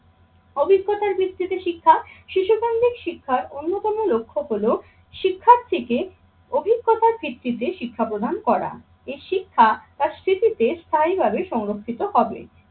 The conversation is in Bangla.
অভিজ্ঞতার ভিত্তিতে শিক্ষা শিশুকেন্দ্রিক শিক্ষার অন্যতম লক্ষ্য হলো শিক্ষার্থীকে অভিজ্ঞতার ভিত্তিতে শিক্ষা প্রদান করা। এই শিক্ষা আর স্মৃতিতে স্থায়ীভাবে সংরক্ষিত হবে।